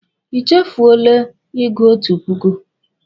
I chefuole ịgụ otu puku.